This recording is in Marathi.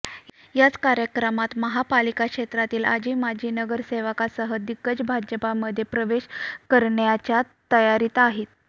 याच कार्यकमात महापालिका क्षेत्रातील आजी माजी नगरसेवकासह दिग्गज भाजपामध्ये प्रवेश करण्याच्या तयारीत आहेत